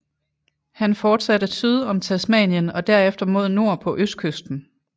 Han fortsatte syd om Tasmanien og derefter mod nord på østkysten